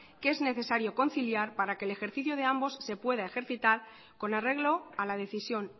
que es necesario conciliar para que el ejercicio de ambos se pueda ejercitar con arreglo a la decisión